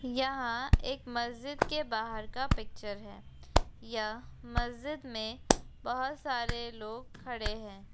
यहाँ एक मस्जिद के बाहर का पिक्चर है। यह मस्जिद में बहुत सारे लोग खड़े हैं।